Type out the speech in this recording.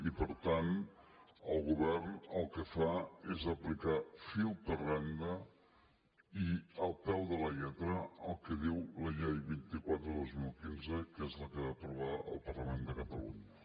i per tant el govern el que fa és aplicar fil per randa i al peu de la lletra el que diu la llei vint quatre dos mil quinze que és la que va aprovar el parlament de catalunya